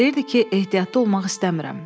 Deyirdi ki, ehtiyatlı olmaq istəmirəm.